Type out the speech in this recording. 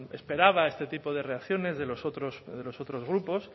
esperaba este tipo de reacciones de los otros de los otros grupos